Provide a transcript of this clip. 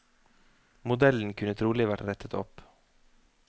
Modellen kunne trolig vært rettet opp.